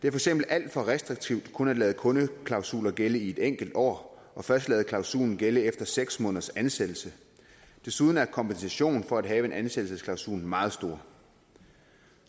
eksempel alt for restriktivt kun at lade kundeklausuler gælde i et enkelt år og først at lade klausulen gælde efter seks måneders ansættelse desuden er kompensationen for at have en ansættelsesklausul meget stor